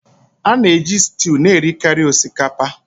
A na-eji stew na-erikarị osikapa